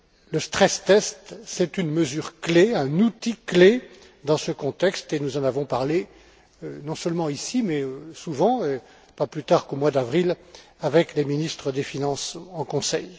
Le stress test est une mesure clé, un outil clé dans ce contexte et nous en avons parlé non seulement ici, mais souvent aussi, et pas plus tard qu'au mois d'avril, avec les ministres des finances en Conseil.